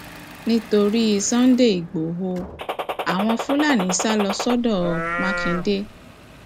nítorí cs] sunday lgboro àwọn fúlàní sá sá lọ sọdọ mákindè